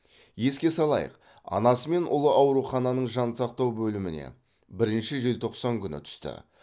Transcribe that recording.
еске салайық анасы мен ұлы аурухананың жансақтау бөліміне бірінші желтоқсан күні түсті